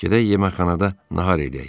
Gedək yeməkxanada nahar eləyək.